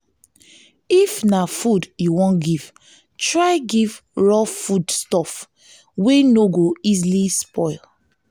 if na food you won give try give raw foods stuff stuff wey no go easily spoil